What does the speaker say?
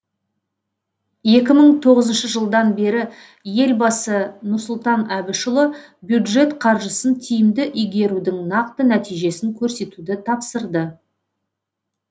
екі мың тоғызыншы жылдан бері елбасы нұрсұлтан әбішұлы бюджет қаржысын тиімді игерудің нақты нәтижесін көрсетуді тапсырды